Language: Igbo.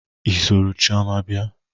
I soro chioma bia?